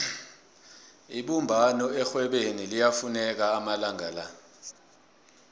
ibumbano erhwebeni liyafuneka amalanga la